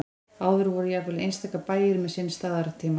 áður voru jafnvel einstaka bæir með sinn staðartíma